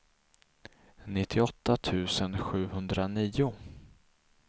nittioåtta tusen sjuhundranio